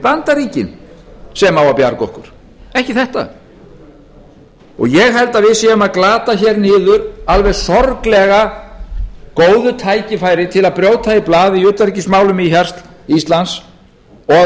bandaríkin sem á að bjarga okkur ekki þetta ég held að við séum að glata hér niður alveg sorglega góðu tækifæri til að brjóta í blað í utanríkismálum íslands og